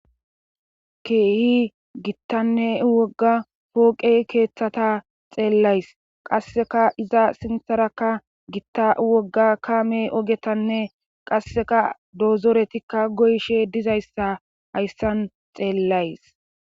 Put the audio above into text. Keehi gittanne wogga pooqe keeththata xeellays qasseka iza sintharakka gitta wogga kaame ogetanne qasseka doozoretikka goyshe dizayssa hayssan xeellays.